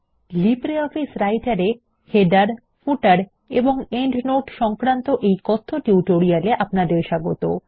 LibreOffice Writer এর - Headersশিরোলেখ Fotersপাদলেখ এবং Notesপ্রান্তটীকা সংক্রান্ত এই কথ্য টিউটোরিয়াল এ আপনাদের স্বাগত